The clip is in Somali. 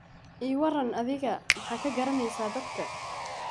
Ewrn adhiga maxa kagaraneysa dadka.